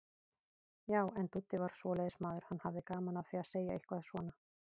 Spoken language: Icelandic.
Já, en Dúddi var svoleiðis maður, hann hafði gaman af því að segja eitthvað svona.